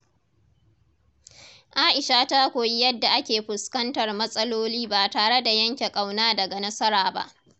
Aisha ta koyi yadda ake fuskantar matsaloli ba tare da yanke ƙauna daga nasara ba.